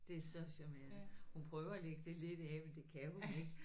Det er så charmerende hun prøver at lægge det lidt af men det kan hun ikke